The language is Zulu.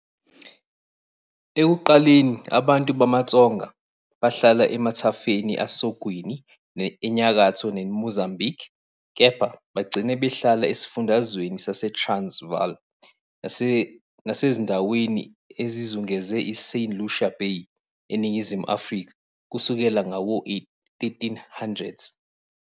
Ekuqaleni, abantu bamaTsonga bahlala emathafeni asogwini eNyakatho neMozambique kepha bagcina behlala eSifundazweni saseTransvaal nasezindaweni ezizungeze iSt Lucia Bay eNingizimu Afrika kusukela ngawo-1300s.